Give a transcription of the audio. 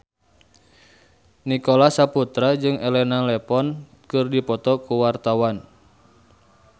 Nicholas Saputra jeung Elena Levon keur dipoto ku wartawan